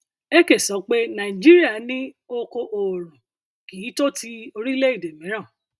ekeh sọ pé nàìjíríà ní oko oòrùn kì í tó ti orílẹ èdè mìíràn